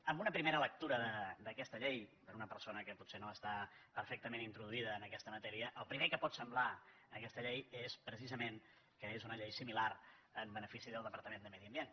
en una primera lectura d’aquesta llei per una persona que potser no està perfectament introduïda en aquesta matèria el primer que pot semblar d’aquesta llei és precisament que és una llei similar en benefici del departament de medi ambient